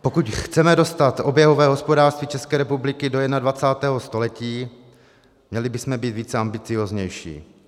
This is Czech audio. Pokud chceme dostat oběhové hospodářství České republiky do 21. století, měli bychom být více ambiciózní.